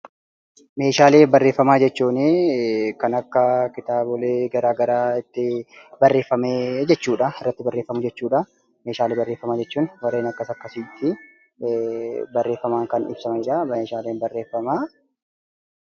Meeshaalee barreeffamaa jechuun kan akka kitaabolee garaa garaa itti barreeffamee jechuudha. Irratti barreeffamu jechuudha. Meeshaalee barreeffamaa jechuun warreen akkas akkasiiti. Barreeffamaan kan ibsamanidha meeshaaleen barreeffamaa.